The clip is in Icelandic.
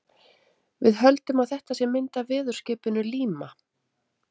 Við höldum að þetta sé mynd af veðurskipinu Líma.